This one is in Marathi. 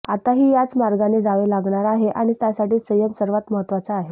आताही याच मार्गाने जावे लागणार आहे आणि त्यासाठी संयम सर्वांत महत्त्वाचा आहे